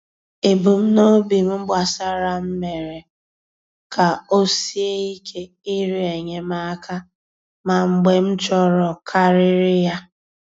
Ebumnobi m gbasara m mere ka o sie ike ịrịọ enyemaka, ma mgbe m chọrọkarịrị ya.